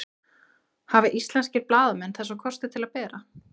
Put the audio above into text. Hafa íslenskir blaðamenn þessa kosti til að bera?